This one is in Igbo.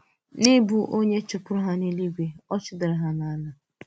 N’ị̀bụ onye chụ̀pùrù ha n’èlúígwe, ọ̀ chụ̀dàrà ha n’ụ̀wà.